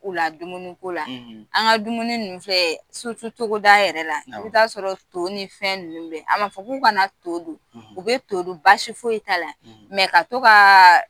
to u la dumuni ko la an ga dumuni ninnu filɛ togoda yɛrɛ la, i bi ta sɔrɔ to ni fɛn ninnu be yen, a ma fɔ k'u kana na to dun u bɛ to dun basi fosi t'a la ka to kaa